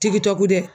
Tigi tɔ kojugu dɛ